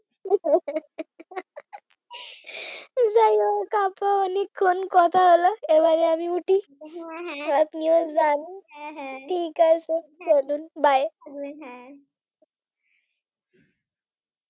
অনেকক্ষণ কথা হলো এবারে আমি উঠি। আপনিও যান। ঠিক আছে চলুন bye